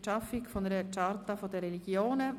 Für die Schaffung einer Charta der Religionen».